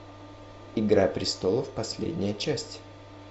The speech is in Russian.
игра престолов последняя часть